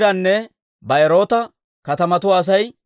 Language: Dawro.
Hariima katamaa Asay 320.